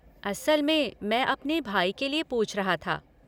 असल में मैं अपने भई के लिए पूछ रहा था।